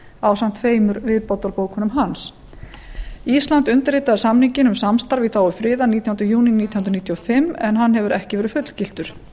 ásamt tveimur viðbótarbókunum hans ísland undirritaði samninginn um samstarf í þágu friðar nítjánda júní nítján hundruð níutíu og fimm en hann hefur ekki verið fullgiltur